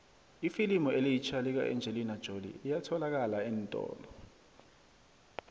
ifilimu elitjha lika engelina jolie liyatholalakala eentolo